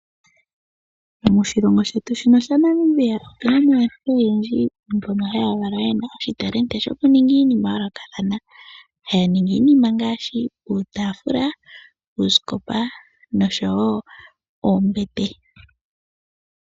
Moshilongo shetu omuna aantu mboka haya valwa yena oshitalendi shoku ninga nenge oku honga iinima ya yolokathana ngaashi uutafula, uusikopa noshowo oombete.